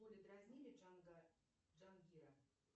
в школе дразнили джангира